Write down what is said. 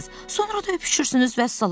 Sonra da öpüşürsünüz, vəssalam.